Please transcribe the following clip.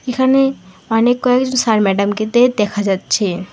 এখানে অনেক কয়েকজন স্যার ম্যাডামকে দেয় দেখা যাচ্ছে।